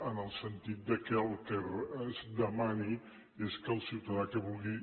en el sentit que el que es demani és que el ciutadà que vulgui